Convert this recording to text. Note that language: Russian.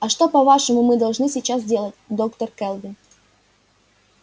а что по-вашему мы должны сейчас делать доктор кэлвин